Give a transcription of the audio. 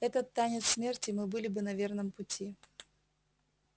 этот танец смерти мы были бы на верном пути